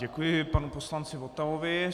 Děkuji panu poslanci Votavovi.